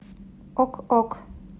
ок ок